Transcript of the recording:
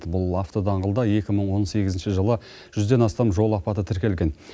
бұл автодаңғылда екі мың он сегізінші жылы жүзден астам жол апаты тіркелген